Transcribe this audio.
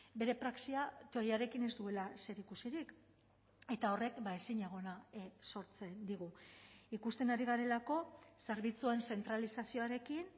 bere praxia teoriarekin ez duela zerikusirik eta horrek ezinegona sortzen digu ikusten ari garelako zerbitzuen zentralizazioarekin